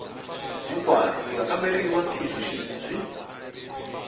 hinkwaro ku ya kamberiwa ntiyisoxidzi